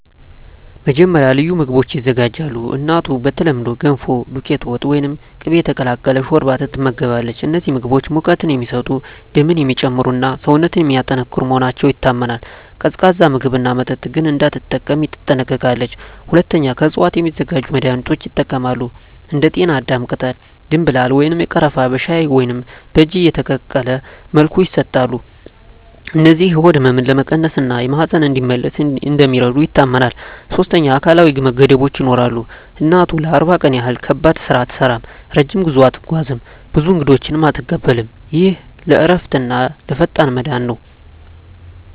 መጀመሪያ፣ ልዩ ምግቦች ይዘጋጃሉ። እናቱ በተለምዶ “ገንፎ”፣ “ዱቄት ወጥ” ወይም “ቅቤ የተቀላቀለ ሾርባ” ትመገባለች። እነዚህ ምግቦች ሙቀት የሚሰጡ፣ ደምን የሚጨምሩ እና ሰውነትን የሚያጠናክሩ መሆናቸው ይታመናል። ቀዝቃዛ ምግብና መጠጥ ግን እንዳትጠቀም ትጠነቀቃለች። ሁለተኛ፣ ከእፅዋት የሚዘጋጁ መድኃኒቶች ይጠቀማሉ። እንደ ጤናዳም ቅጠል፣ ደምብላል ወይም ቀረፋ በሻይ ወይም በእጅ የተቀቀለ መልኩ ይሰጣሉ። እነዚህ የሆድ ህመምን ለመቀነስ እና ማህፀን እንዲመለስ እንደሚረዱ ይታመናል። ሶስተኛ፣ አካላዊ ገደቦች ይኖራሉ። እናቱ ለ40 ቀን ያህል ከባድ ስራ አትሠራም፣ ረጅም ጉዞ አትጓዝም፣ ብዙ እንግዶችንም አትቀበልም። ይህ ለእረፍትና ለፈጣን መዳን ነው